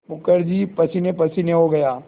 मुखर्जी पसीनेपसीने हो गया